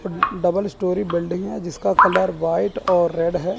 Double storey building है जिसका colour white और रेड है।